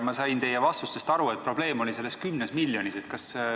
Ma sain teie vastustest aru, et probleem oli sellest 10 miljonis.